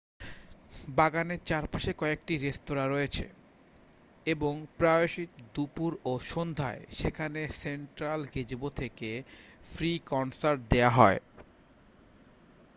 বাগানের চারপাশে কয়েকটি রেস্তোঁরা রয়েছে এবং প্রায়শই দুপুর ও সন্ধ্যায় সেখানে সেন্ট্রাল গেজেবো থেকে ফ্রি কনসার্ট দেওয়া হয়